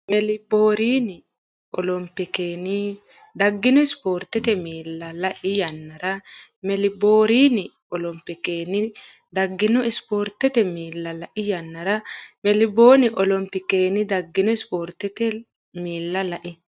Meelboorni olompikenni daggino ispoortete miilla lai yannara Meelboorni olompikenni daggino ispoortete miilla lai yannara Meelboorni olompikenni daggino ispoortete miilla lai.